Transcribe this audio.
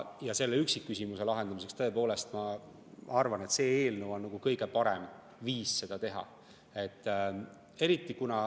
Selle üksikküsimuse lahendamiseks, tõepoolest ma arvan, on see eelnõu kõige parem viis seda teha.